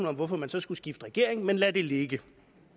om hvorfor man så skulle skifte regering men lad det ligge